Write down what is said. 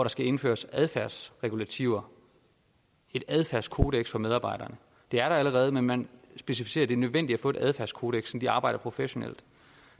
skal indføres adfærdsregulativer et adfærdskodeks for medarbejderne det er der allerede men man specificerer det nødvendigt at få et adfærdskodeks så de arbejder professionelt